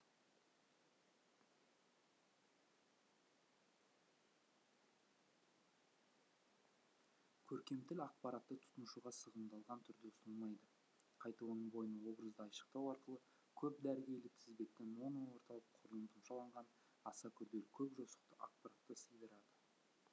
көркем тіл ақпаратты тұтынушыға сығымдалған түрде ұсынылмайды қайта оның бойына образды айшықтау арқылы көп дәргейлі тізбекті моноорталық құрылым тұмшаланған аса күрделі көп жосықты ақпаратты сыйдырады